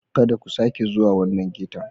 Kaɗa ku sake zuwa wannan ghetto.